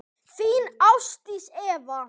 Þín Ásdís Eva.